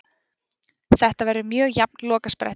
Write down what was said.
Þetta verður mjög jafn lokasprettur.